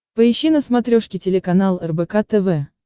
поищи на смотрешке телеканал рбк тв